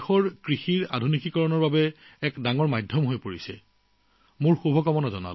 দেশৰ কৃষি আধুনিকীকৰণৰ ক্ষেত্ৰত গুৰুত্বপূৰ্ণ মাধ্যম হিচাপে কাম কৰি আছে নমো ড্ৰোন দিদিসকলে